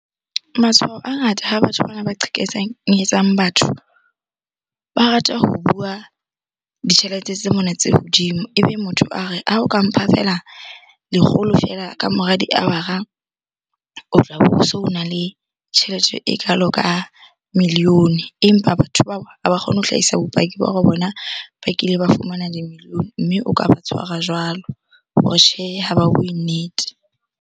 Matshwao a ngata ha batho bana ba batho ba rata ho bua ditjhelete tse mona tse hodimo. Ebe motho a re, ha o ka mpha feela lekgolo feela ka mora di-hour-a o tla bo so ona le tjhelete e kalo ka million-e empa batho bao ha ba kgone ho hlaisa bopaki ba hore bona ba kile ba fumana di-million-e. Mme o ka ba tshwara jwalo hore tjhe, ha ba bue nnete.